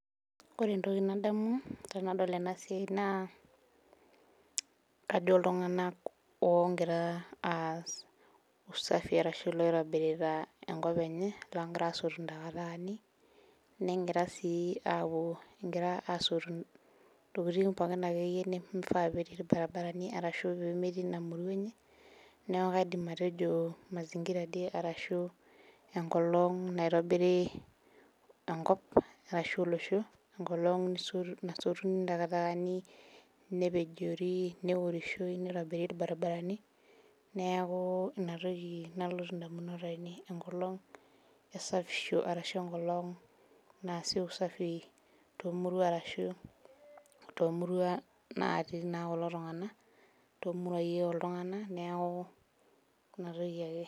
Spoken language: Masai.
Ore entoki nadamu tenadol ena naa iltunganak oogira aas usafi ashu looitobirita. enkop enye. loogira aasotu ntakitakani. negira sii aapuo egira aasotu ntokitin pookin akeyie. nimifaa pee etii ilbarinarani. ashu nimifaa peetii Ina. murua enye. neeku kaidim atejo mazingira arashu enkolong' naitobiri. enkop ashu olosho. enkolong. nasotuni. ntakatakani, nepejori. neorishoi. nitobiri ilbarinarani. neaku Ina toki nalotu damunot ainei. enkolong esafisho. ashu enkolong' naasi usafi.